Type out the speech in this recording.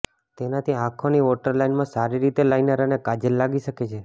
તેનાથી આંખોની વોટર લાઈનમાં સારી રીતે લાઈનર અને કાજલ લાગી શકે છે